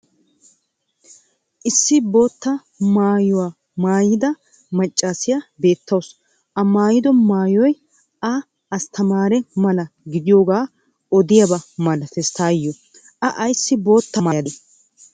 Issi boottaa maaya uttida macaassiya beetawusu. A maayiddo maayoy a astamaare mala gidiyoogaa oddiyaaba malates taayo. A ayssi bootaa maayadee?